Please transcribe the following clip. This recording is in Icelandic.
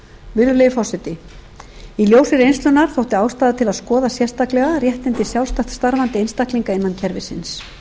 virðulegi forseti í ljósi reynslunnar þótti ástæða til að skoða sérstaklega réttindi sjálfstætt starfandi einstaklinga innan kerfisins